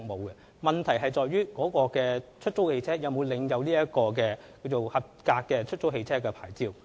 因此，問題在於該出租汽車是否領有有效的出租汽車許可證。